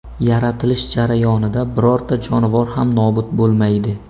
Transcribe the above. Yaratilish jarayonida birorta jonivor ham nobud bo‘lmaydi.